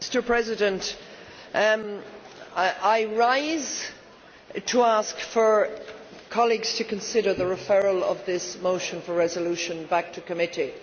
Mr President, I rise to ask colleagues to consider the referral of this motion for a resolution back to committee.